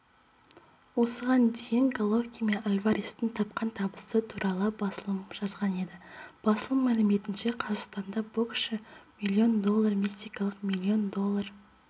осыған дейін головкин мен альварестің тапқан табысы туралы басылымы жазған еді басылым мәліметінше қазақстандық боксшы миллион доллар мексикалық миллион доллар